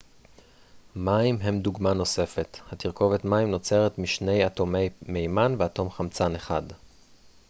מים הם דוגמה נוספת התרכובת מים נוצרת משני אטומי מימן ואטום חמצן אחד